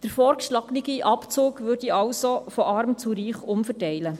Der vorgeschlagene Abzug würde somit von Arm zu Reich umverteilen.